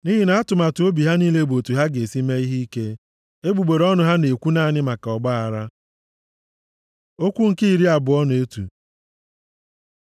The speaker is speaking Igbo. Nʼihi na-atụmatụ obi ha niile bụ otu ha ga-esi mee ihe ike, egbugbere ọnụ ha na-ekwu naanị maka ọgbaaghara. Okwu nke iri abụọ na otu